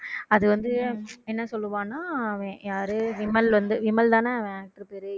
அது வந்து என்ன சொல்லுவான்னா அவன் யாரு விமல் வந்து விமல்தானே